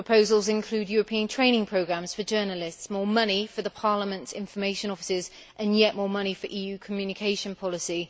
Proposals include European training programmes for journalists, more money for Parliament's information offices and yet more money for EU communication policy.